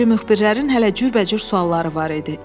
O biri müxbirlərin hələ cürbəcür sualları var idi.